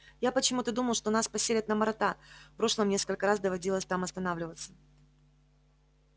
я почему-то думал что нас поселят на марата в прошлом несколько раз доводилось там останавливаться